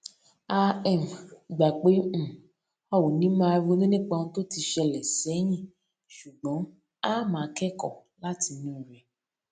ọlọpàá yìí yìnbọn para ẹ lẹyìn tó pa ọrẹbìnrin ẹ tán ní kwara